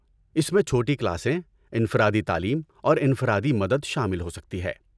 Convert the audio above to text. اس میں چھوٹی کلاسیں، انفرادی تعلیم اور انفرادی مدد شامل ہو سکتی ہے۔